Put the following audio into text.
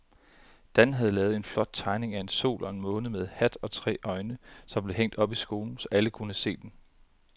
Dan havde lavet en flot tegning af en sol og en måne med hat og tre øjne, som blev hængt op i skolen, så alle kunne se den.